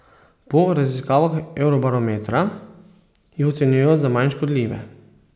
Po raziskavah eurobarometra, jih ocenjujejo za manj škodljive.